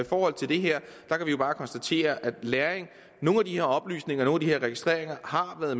forhold til det her kan vi bare konstatere at lagring af nogle af de her oplysninger og registreringer har været